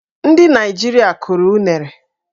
Ndị Naịjirịa kụrụ unere.